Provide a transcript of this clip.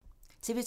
TV 2